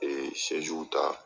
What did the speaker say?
s ta